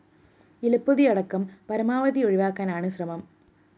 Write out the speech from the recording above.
ഇലപ്പൊതിയടക്കം പരമാവധി ഒഴിവാക്കാനാണ് ശ്രമം